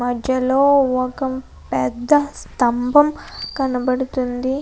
మధ్యలో ఒకం పెద్ద స్తంభం కనబడుతుంది.